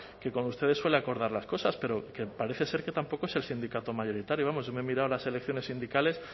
que con ustedes suele acordar las cosas pero que parece ser que tampoco es el sindicato mayoritario vamos yo me he mirado las elecciones sindicales